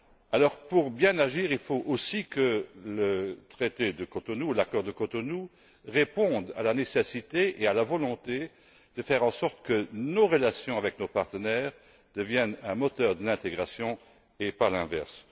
Alors, pour bien agir, il faut que l'accord de Cotonou réponde à la nécessité et à la volonté de faire en sorte que nos relations avec nos partenaires deviennent un moteur d'intégration et pas l'inverse.